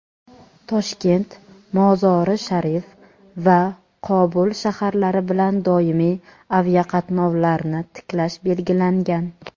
Toshkent – Mozori-Sharif va Qobul shaharlari bilan doimiy aviaqatnovlarni tiklash belgilangan.